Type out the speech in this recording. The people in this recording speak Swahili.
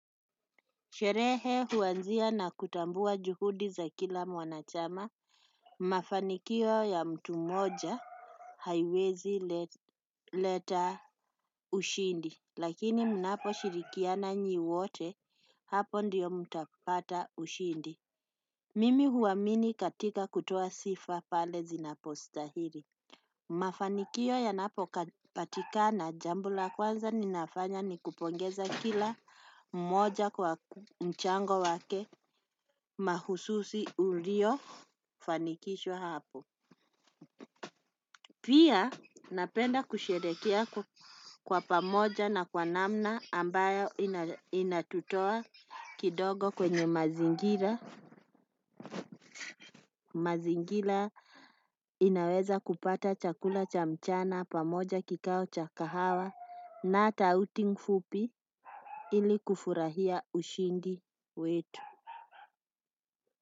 Sherehe huanzia na kutambua juhudi za kila mwanachama. Mafanikio ya mtu moja haiwezi leta ushindi lakini mnaposhirikiana nyi wote hapo ndiyo mtapata ushindi. Mimi huamini katika kutoa sifa pale zinapostahili. Mafanikio yanapopatikana jambo la kwanza ninafanya ni kupongeza kila mmoja kwa mchango wake. Mahususi uliofanikishwa hapo. Pia napenda kusherehekea kwa pamoja na kwa namna ambayo inatutoa kidogo kwenye mazingira. Mazingira inaweza kupata chakula cha mchana pamoja kikao cha kahawa. Na hata outing fupi ili kufurahia ushindi wetu.